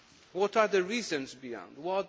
What are the reasons behind this?